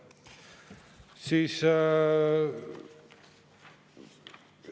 Aitäh!